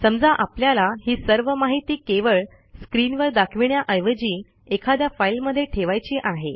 समजा आपल्याला ही सर्व माहिती केवळ स्क्रीनवर दाखविण्याऐवजी एखाद्या फाईलमध्ये ठेवायची आहे